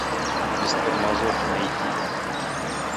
без тормозов найди